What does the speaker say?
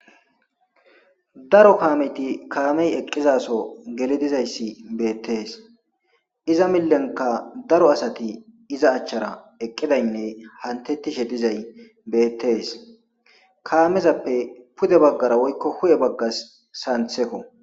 Daro kaameti kaamey eqqizaso geli dizayssi beettees iza millenka daro asati iza achchara eqqidaynne hantettishe dizay beettees kaamezappe pude baggara woykko hu'e baggas santhekko.